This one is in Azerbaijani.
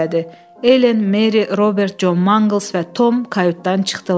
Elen, Meri, Robert, Con Manqls və Tom kayutdan çıxdılar.